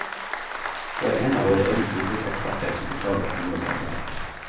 Det var en av våre egne sikkerhetseksperter som oppdaget at noe var galt.